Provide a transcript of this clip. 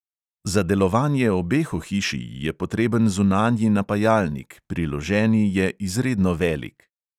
Za delovanje obeh ohišij je potreben zunanji napajalnik, priloženi je izredno velik.